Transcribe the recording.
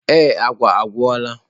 Ee agwa agwụla.